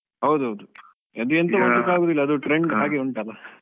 ಹೌದು ಹೌದು. ಅದು ಎಂತ ಮಾಡ್ಲಿಕ್ಕೆ ಆಗುದಿಲ್ಲ, ಅದು trend ಹಾಗೆ ಉಂಟಲ್ಲ